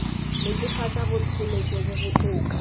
netefatsa botshelo jo bo botoka